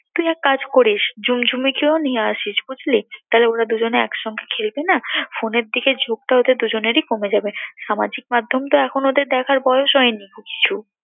তুই এক কাজ করিস, ঝুমঝুমিকেও নিয়ে আসিস বুঝলি? তাহলে ওরা দুজনে একসঙ্গে খেলবেনা phone এর দিকে ঝোঁকটা ওদের দুজনেরই কমে যাবে। সামাজিক মাধ্যমতো এখন ওদের দেখার বয়স হয়নি কিছু।